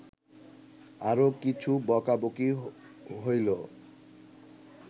আরও কিছু বকাবকি হইল